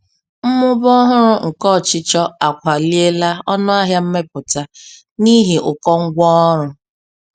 Mmụba ọhụrụ nke ọchịchọ akwaliela ọnụ ahịa mmepụta n'ihi ụkọ ngwa ọrụ.